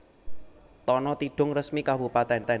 Tana Tidung Resmi Kabupatèn